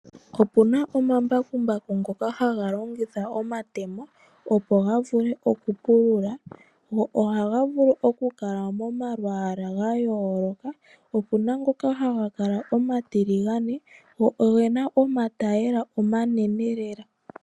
Opu na omambakumbaku ngoka haga longitha omatemo opo ga vule okupulula go ohaga vulu okukala momalwaala ga yooloka opu na ngoka haga kala omatiligane go oge na omatayiyela omanene lela.